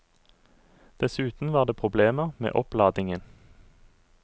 Dessuten var det problemer med oppladningen.